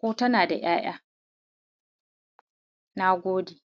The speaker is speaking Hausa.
ko tana da ‘ya'ya. Nagode.